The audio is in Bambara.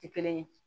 Tɛ kelen ye